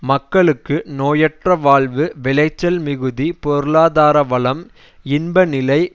மக்களுக்கு நோயற்ற வாழ்வு விளைச்சல் மிகுதி பொருளாதார வளம் இன்ப நிலை